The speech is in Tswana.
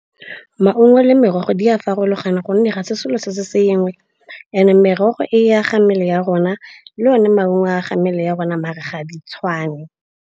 Maungo le merogo di a farologana gonne ga se selo se se sengwe. And-e merogo e a ga mmele ya rona, le one maungo a ga mmele ya rona maar ga di tshwane.